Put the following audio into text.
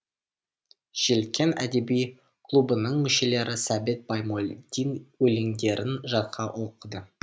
желкен әдеби клубының мүшелері сәбит баймолдин өлеңдерін жатқа оқыды